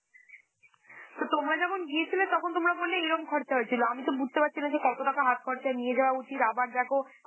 তো তোমরা যখন গিয়েছিলে, তখন তোমরা বললে এরম খরচা হয়েছিল, আমি তো বুঝতে পারছি না যে কত টাকা হাত খরচায় নিয়ে যাওয়া উচিত, আবার দেখো